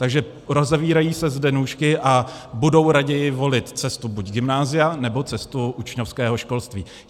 Takže rozevírají se zde nůžky a budou raději volit cestu buď gymnázia, nebo cestu učňovského školství.